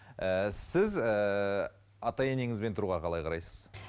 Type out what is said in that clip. ііі сіз ііі ата ененізбен тұруға қалай қарайсыз